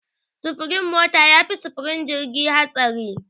Sufurin mota yafi sufurin jirgi hatsari.